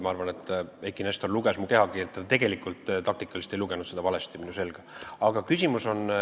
Ma arvan, et Eiki Nestor luges mu kehakeelt, ta tegelikult taktikaliselt ei lugenud minu selga valesti.